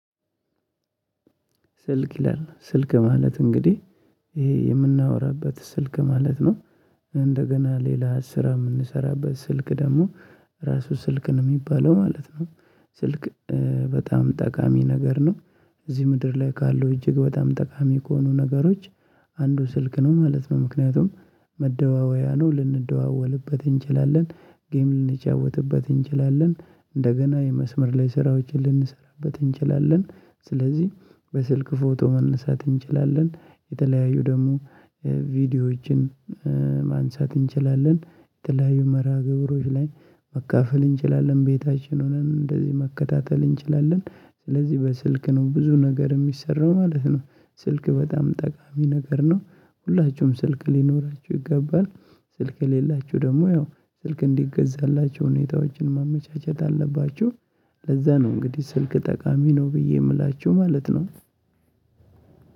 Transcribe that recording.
ስልክ ይላል ስልክ ማለት እንግዲህ ይሄ የምናወራበት ስልክ ማለት ነው። እንደገና ሌላ ስራ የምንሰራበት ስልክ ደግሞ ራሱ ስልክ ነው የሚባለው ማለት ነው ስልክ በጣም ጠቃሚ ነገር ነው እዚህ ምድር ላይ ካለው እጅግ በጣም ጠቃሚ ከሆኑ ነገሮች አንዱ ስልክ ነው ማለት ነው ምክንያቱም መደዋወያ ነው ልንደዋወልበት እንችላለን ጌም ልንጫወትበት እንችላለን እንደገና የመስመር ላይ ስራዎችን ልንሰራበት እንችላለን ስለዚህ በስልክ ፎቶ ማንሳት እንችላለን የተለያዩ ደግሞ ቪዲዮዎችን ማንሳት እንችላለን የተለያዩ መርሃ ግብሮች ላይ መካፈል እንችላለን ቤታችን ሆነን እንደዚህ መከታተል እንችላለን ስለዚህ በስልክ ነው ብዙ ነገር የሚሰራው ማለት ነው። ስልክ በጣም ጠቃሚ ነገር ነው ሁላችሁም ስልክ ሊኖራችሁ ይገባል ስልክ የሌላችሁ ደግሞ ያው ስልክ እንዲገዛላችሁ ሁኔታዎችን ማመቻቸት አለባችሁ። ለዛ ነው እንግዲህ ስልክ ጠቃሚ ነው ብዬ የምላችሁ ማለት ነው።